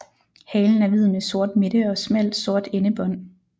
Halen er hvid med sort midte og smalt sort endebånd